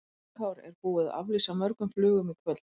Höskuldur Kári: En er búið að aflýsa mörgum flugum í kvöld?